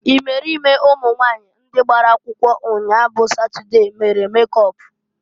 Imerime ụmụnwanyị ndị gbara akwụkwọ nnyaa bụ Satọde mere mekọp.